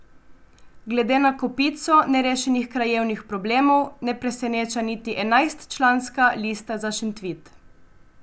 Glede na kopico nerešenih krajevnih problemov ne preseneča niti enajstčlanska Lista za Šentvid.